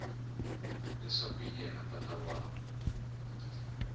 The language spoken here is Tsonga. leswaku hi yena tatana wa